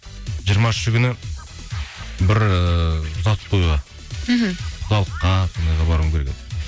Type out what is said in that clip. жиырма үші күні бір ііі ұзату тойға мхм құдалыққа сондайға баруым керек